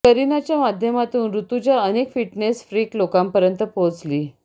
करिनाच्या माध्यमातून ऋजुता अनेक fitness freak लोकांपर्यंत पोहचली